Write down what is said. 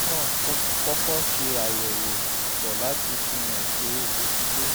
nítorí náà kọ́kọ́ ṣe àyẹ̀wò ìtọ̀ láti fihàn pé o ti lóyún